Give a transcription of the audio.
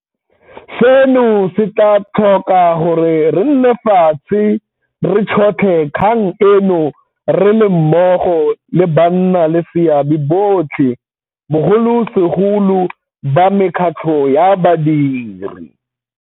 Seno se tla tlhoka gore re nne fatshe re tšhotlhe kgang eno re le mmogo le bannaleseabe botlhe, bogolosegolo ba mekgatlho ya badiri.